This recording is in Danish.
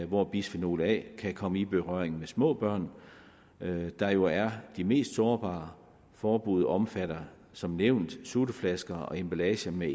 hvor bisfenol a kan komme i berøring med små børn der jo er de mest sårbare forbuddet omfatter som nævnt sutteflasker og emballage med